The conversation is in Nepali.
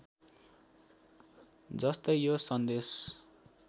जस्तै यो सन्देश